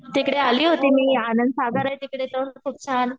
तिकडे आली होती मी आनंद सागर आहे तिकडे खूप छान